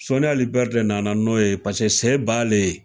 Soni ali bɛri de nana n'o ye pase se b'alen ye